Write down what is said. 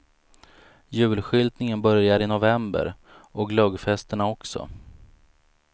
Julskyltningen börjar i november och glöggfesterna också.